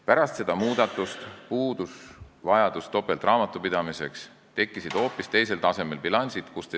Pärast seda muudatust puudus vajadus topeltraamatupidamise järele, tekkisid hoopis teisel tasemel bilansid.